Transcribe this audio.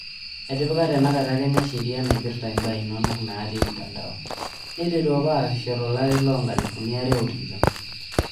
Etipika tenakata Kenya shaeria naipirta imbaa inonok naati mtandao, neiteru apaa aasisho tolari loonkalifuni are otikitam.